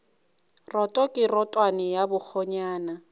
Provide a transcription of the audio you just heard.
roto ke rotwane ya bakgonyana